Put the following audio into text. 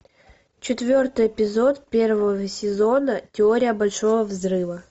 четвертый эпизод первого сезона теория большого взрыва